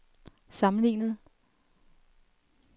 sammenlignet